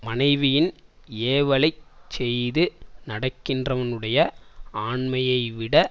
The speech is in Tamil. மனைவியின் ஏவலைச் செய்து நடக்கின்றவனுடைய ஆண்மையைவிட